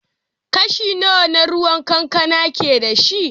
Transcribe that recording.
Kashi nawa na ruwan kankana ke da shi?